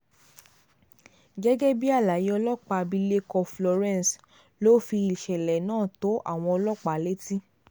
gẹ́gẹ́ bí àlàyé ọlọ́pàá abilékọ florence ló fi ìṣẹ̀lẹ̀ náà tó àwọn ọlọ́pàá létí